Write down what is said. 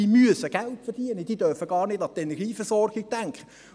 Die müssen Geld verdienen, die dürfen gar nicht an die Energieversorgung denken.